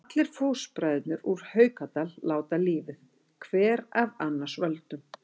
Allir fóstbræðurnir úr Haukadal láta lífið, hver af annars völdum.